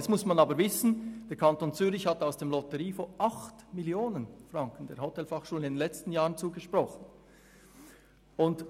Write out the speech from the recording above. Nun muss man aber wissen, dass der Kanton Zürich in den letzten Jahren der Hotelfachschule 8 Mio. Franken aus dem Lotteriefonds zugesprochen hat.